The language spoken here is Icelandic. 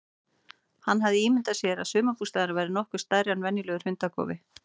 Hann hafði ímyndað sér að sumarbústaðurinn væri nokkuð stærri en venjulegur hundakofi.